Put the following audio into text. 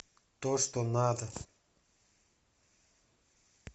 то что надо